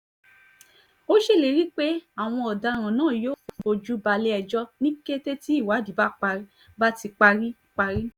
ó ṣèlérí pé àwọn ọ̀daràn náà yóò fojú balẹ̀-ẹjọ́ ní kété tí ìwádìí bá ti parí parí